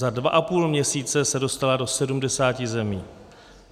Za dva a půl měsíce se dostala do 70 zemí.